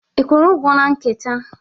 Ị kwụrụ ụgwọ na kanta?